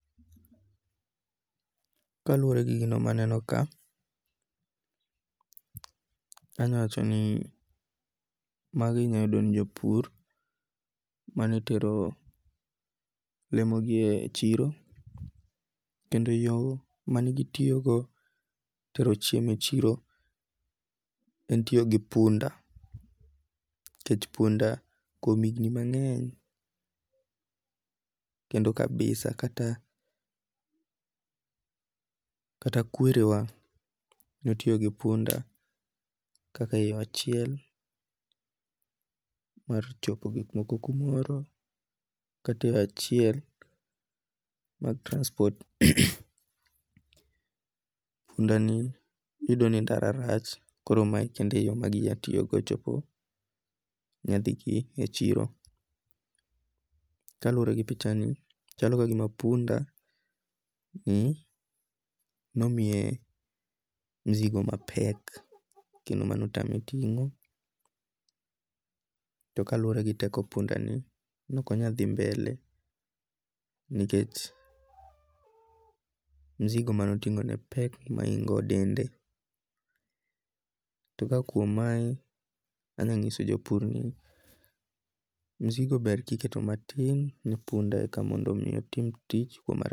Kaluwore gi gini maneno ka, anyawacho ni magi inyayudo ni jopur manetero lemo gi e chiro kendo yo manegitiyogo tero chiemo e chiro en tiyo gi punda. Nikech punda kuom higni mangeny', kendo kabisa kata kata kwere wa notiyo gi punda kaka yo achiel mar chopo gikmoko kumoro, kata e achiel mag transport. Punda ni, iyudo ni ndara rach koro ma e kende yo maginya tityogodo nyadhi gi e chiro. Kaluwore gi pichani chalo ka gima punda ni nomiye mzigo mapek kendo mane otame ting'o. To kaluwore gi teko punda ni nokonyal dhi mbele nikech mzigo manotingo ne pek mohingo dende. Ta ka kuom mae anya nyiso jopur ni mizigo ber ka iketo matin ni punda e ka mondo mi otim tich